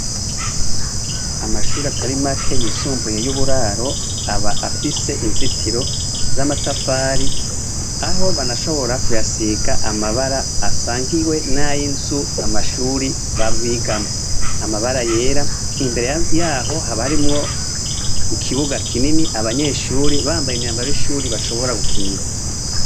Amashure atari make yisumbuye y'uburaro aba afise inzitiro z'amatafari aho banashobora kuyasiga amabara asangiwe nay'inzu amashure bigamwo amabara yera imbere yaho haba harimwo ikibuga kinini abanyeshuri bambaye imyambaro y'ishuri bashobora gukinira.